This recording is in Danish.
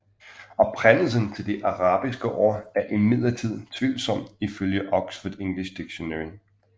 Oprindelsen til det arabiske ord er imidlertid tvivlsomt ifølge Oxford English Dictionary